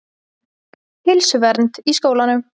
Heilsuvernd í skólum.